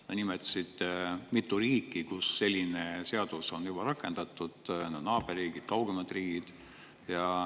Sa nimetasid mitu riiki, kus selline seadus on juba rakendatud, naaberriigid, kaugemad riigid.